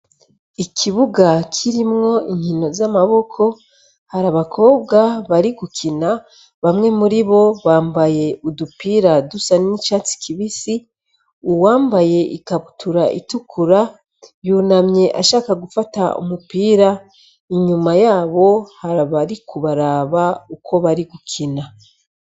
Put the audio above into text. Ikibuga kirimwo inkino z'amaboko, hari abakobwa bari gukina, bamwe muribo bambaye udupira dusa n'icatsi kibisi, uwambaye ikabutura itukura, yunamye ashaka gufata umupira, inyuma yabo hari abariko baraba uko bari gukina.